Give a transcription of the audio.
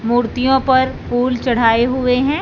मूर्तियों पर फूल चढ़ाए हुए हैं।